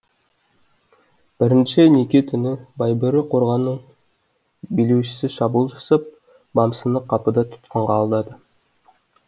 бірінші неке түні байбөрі қорғанының билеушісі шабуыл жасап бамсыны қапыда тұтқынға алады